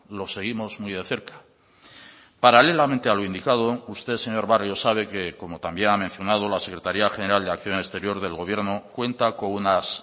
lo seguimos muy de cerca paralelamente a lo indicado usted señor barrio sabe que como también ha mencionado la secretaría general de acción exterior del gobierno cuenta con unas